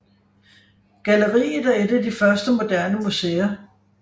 Galleriet er et af de første moderne museer